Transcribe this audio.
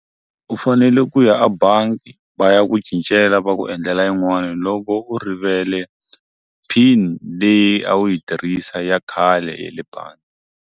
U fanele ku ya abangi va ya ku cincela va ku endlela yin'wana loko u rivele pin leyi a wu yi tirhisa ya khale ya le bangi.